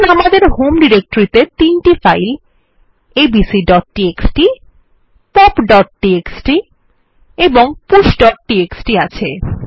ধরুন আমাদের হোম ডিরেক্টরিতে ৩ টি ফাইল abcটিএক্সটি popটিএক্সটি এবং pushটিএক্সটি আছে